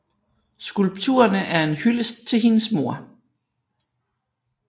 Skulpturerne er en hyldest til hendes mor